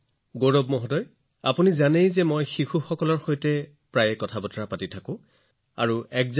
গৌৰৱজী আপুনি জানেনে মই শিশুসকলৰ সৈতে নিৰন্তৰে বাৰ্তালাপ কৰিবলৈ ভাল পাওঁ আৰু মই এই সুযোগ বিচাৰি থাকো